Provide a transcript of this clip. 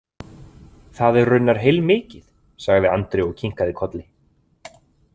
Það er raunar heilmikið, sagði Andri og kinkaði kolli.